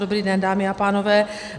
Dobrý den, dámy a pánové.